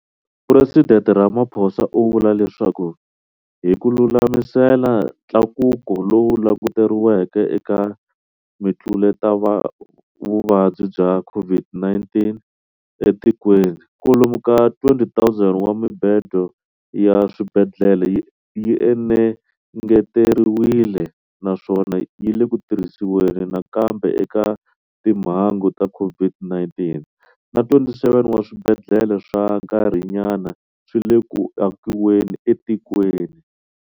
Phuresidente Ramaphosa u vula leswaku, hi ku lulamisela ntlakuko lowu languteriweke eka mitluletavuvabyi ya COVID-19 etikweni, kwalomu ka 20 000 wa mibedo ya swibedhlele yi engeteriwile, naswona yi le ku tirhisiweni nakambe eka timhangu ta COVID-19, na 27 wa swibedhlele swa nkarhinyana swi le ku akiweni etikweni.